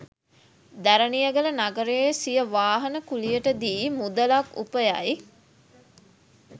දැරණියගල නගරයේ සිය වාහන කුළියට දී මුදලක් උපයයි.